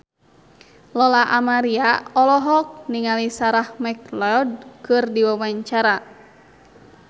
Lola Amaria olohok ningali Sarah McLeod keur diwawancara